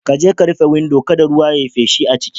Kaje ka rufe windo kada ruwa ya yi feshi a ciki.